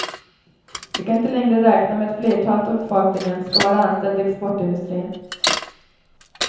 Vi kan inte längre räkna med att flertalet av befolkningen skall vara anställd i exportindustrin.